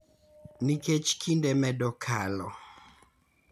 Nikech kinde medo kalo,